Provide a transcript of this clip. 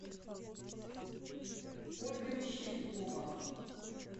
ольга мещерякова